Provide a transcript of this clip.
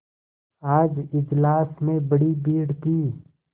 आज इजलास में बड़ी भीड़ थी